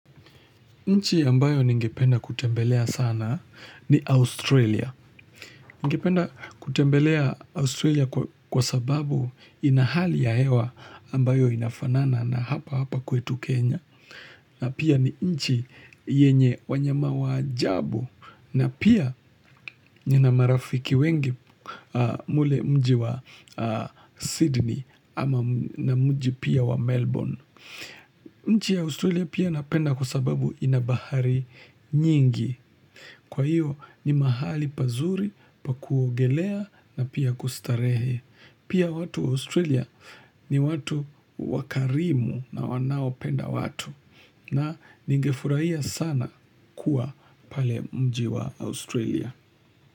Nchi ambayo ningependa kutembelea sana ni Australia. Ningependa kutembelea Australia kwa sababu ina hali ya hewa ambayo inafanana na hapa hapa kwetu Kenya. Na pia ni nchi yenye wanyama wa ajabu na pia nina marafiki wengi mule mji wa Sydney ama na mji pia wa Melbourne. Nchi ya Australia pia napenda kwa sababu ina bahari nyingi. Kwa hiyo ni mahali pazuri pa kuogelea na pia kustarehe. Pia watu Australia ni watu wakarimu na wanaopenda watu. Na ningefuraia sana kuwa pale mji wa Australia.